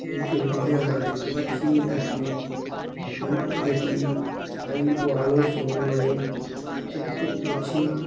এই ছবিটিতে আমরা দেখতে পাচ্ছি একটি রুম যেটি স্টাইল ও আলোর সমন্বয়ে চকচক করছে।